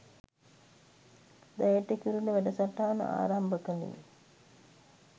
දැයට කිරුළ වැඩසටහන ආරම්භ කළේ.